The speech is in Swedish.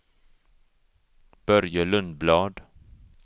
Börje Lundblad